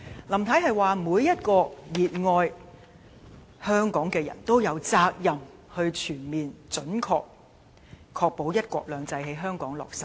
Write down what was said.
林太說，每一個熱愛香港的人都有責任全面準確地確保"一國兩制"在香港落實。